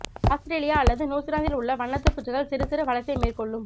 Australia அல்லது நியூஸிலாந்தில் உள்ள வண்ணத்துப் பூச்சிகள் சிறு சிறு வலசை மேற்கொள்ளும்